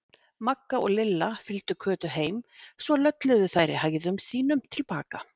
Magga og Lilla fylgdu Kötu heim, svo lölluðu þær í hægðum sínum til baka.